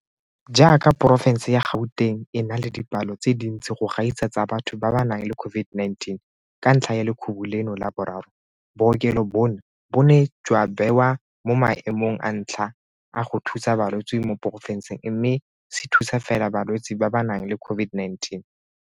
Jaaka porofense ya Gauteng e na le dipalo tse dintsi go gaisa tsa batho ba ba nang le COVID-19 ka ntlha ya lekhubu leno la boraro, bookelo bono bo ne jwa bewa mo maemong a ntlha a go thusa balwetse mo porofenseng mme se thusa fela balwetse ba ba nang le COVID-19.